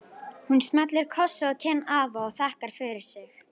Hún smellir kossi á kinn afa og þakkar fyrir sig.